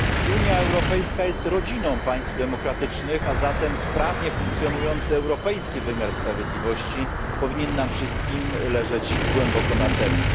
Unia Europejska jest rodziną państw demokratycznych, a zatem sprawnie funkcjonujący europejski wymiar sprawiedliwości powinien nam wszystkim leżeć głęboko na sercu.